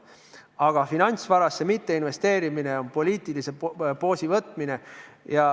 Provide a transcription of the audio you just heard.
Aga finantsvarasse mitteinvesteerimine on poliitilise poosi võtmine.